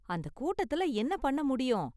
அந்த கூட்டத்துல என்ன பண்ண முடியும்.